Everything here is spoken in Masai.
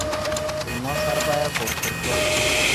Einosa irpayek olkurto